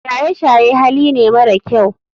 Shaye shaye Hali ne mara kyau.